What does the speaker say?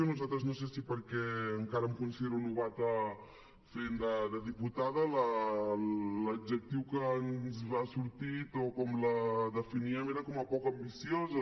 a nosaltres no sé si perquè encara em considero novella fent de diputada l’adjectiu que ens ha sortit o com la definíem era com a poc ambiciosa